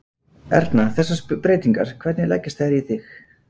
Erna, þessar breytingar, hvernig leggjast þær í þig?